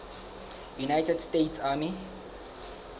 united states army